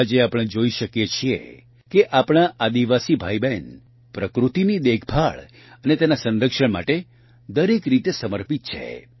આજે આપણે જોઇ શકીએ છીએ કે આપણા આદિવાસી ભાઇબહેન પ્રકૃતિની દેખભાળ અને તેના સંરક્ષણ માટે દરેક રીતે સમર્પિત છે